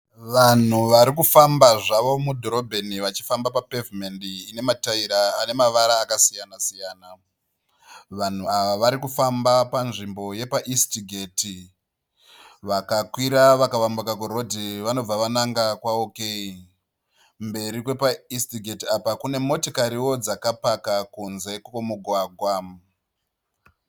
Vanhu varikufamba zvavo mudhorobheni vachifamba papevhimendi ine matayira anemavara akasiyana siyana. Vanhu ava varikufamba panzvimbo yepaEast Gate. Vakakwira vakayambuka kurhodhi vanobva vananga kwaOK. Mberi kwepaEast Gate apa kune motokariwo dzakapaka kunze kwomugwagwa.